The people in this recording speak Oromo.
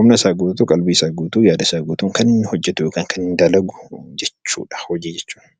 Humna isaa guutuun kan hojjetu yookaan dalagu hojii jechuudha.